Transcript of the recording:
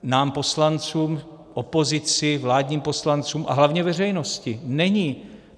Nám poslancům, opozici, vládním poslancům a hlavně veřejnosti není.